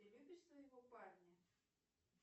ты любишь своего парня